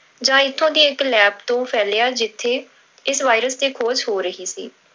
ਜਾਂ ਇੱਥੋਂ ਦੀ ਇੱਕ lab ਤੋਂ ਫੈਲਿਆ ਜਿੱਥੇ ਇਸ virus ਤੇ ਖੋਜ ਹੋ ਰਹੀ ਸੀ।